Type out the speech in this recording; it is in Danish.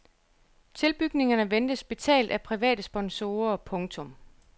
Tilbygningerne ventes betalt af private sponsorer. punktum